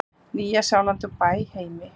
Nýja-Sjálandi og í Bæheimi.